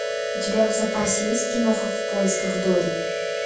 у тебя в запасе есть киноха в поисках дори